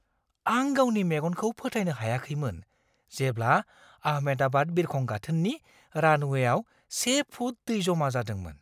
आं गावनि मेगनखौ फोथायनो हायाखैमोन जेब्ला आहमेदाबाद बिरखं गाथोननि रानवेयाव से फुट दै जमा जादोंमोन।